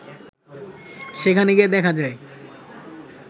সেখানে গিয়ে দেখা যায়